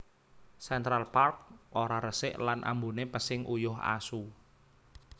Central Park ora resik lan ambune pesing uyuh asu